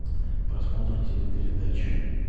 просмотр телепередач